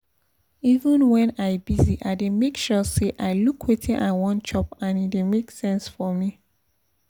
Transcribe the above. even when i busy i dey make sure say i look wetin i wan chop and e dey make sense for me